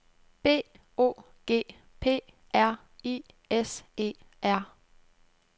B O G P R I S E R